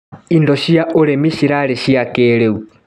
Indo cia ũrĩmi cirarĩ cia kĩrĩu.